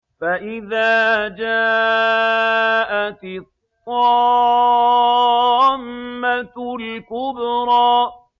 فَإِذَا جَاءَتِ الطَّامَّةُ الْكُبْرَىٰ